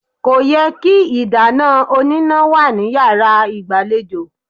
Kò yẹ kí ìdáná oníná wà ní yàrá ìgbàlejò.